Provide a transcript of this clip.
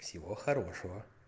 всего хорошего